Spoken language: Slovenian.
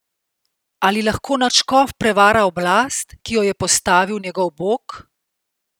Ali lahko nadškof prevara oblast, ki jo je postavil njegov bog?